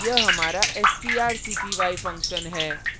यह हमारा strcpy function है